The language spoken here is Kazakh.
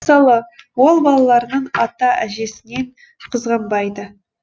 мысалы ол балаларын ата әжесінен қызғанбайды